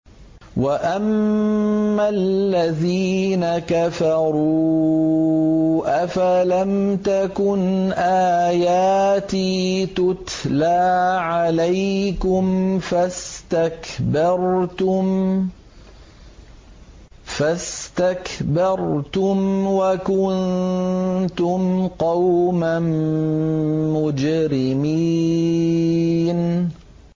وَأَمَّا الَّذِينَ كَفَرُوا أَفَلَمْ تَكُنْ آيَاتِي تُتْلَىٰ عَلَيْكُمْ فَاسْتَكْبَرْتُمْ وَكُنتُمْ قَوْمًا مُّجْرِمِينَ